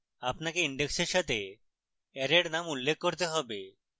আপনাকে index এর সাথে অ্যারের name উল্লেখ করতে have